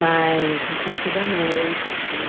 Mas eu sempre fui da noite, assim.